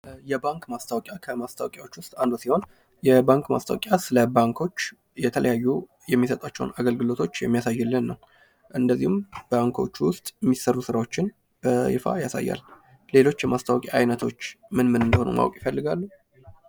የባንክ ማስታወቂያ ከማስታወቂያዎች ውስጥ አንዱ ሲሆን የባንክ ማስታወቂያ ስለባንኮች የተለያዩ የሚሰጧቸውን አገልግሎቶች የሚያሳይልን ነው። እንደዚሁም ባንኮቹ ውስጥ የሚሰሩ ስራዎችን በይፋ ያሳያል። ሌሎች የማስታወቂያ አይነቶች ምን ምን እንደሆኑ ማወቅ ይፈልጋሉ?